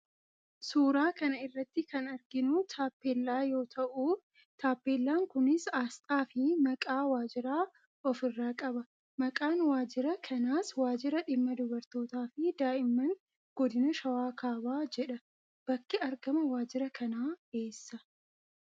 Suuraa kana irratti kan arginu taapellaa yoo ta'u, taapellaan kunis asxaa fi maqaa waajjiraa of irraa qaba. Maqaan waajjira kanas 'Waajjira Dhimma Dubartootaa fi Daa'imman Godina Shawaa Kaabaa' jedha. Bakki argama waajjira kanaa eessa?